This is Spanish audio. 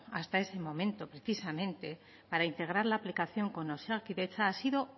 hasta ese momento precisamente para integrar la aplicación con osakidetza ha sido